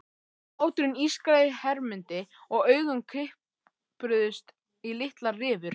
Hláturinn ískraði í Hermundi og augun kipruðust í litlar rifur.